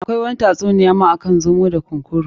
Akwai wani ta tsuniya ma akan zomo da kunkuru.